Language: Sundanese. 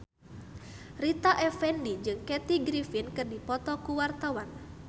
Rita Effendy jeung Kathy Griffin keur dipoto ku wartawan